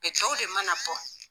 tɔw de mana bɔ.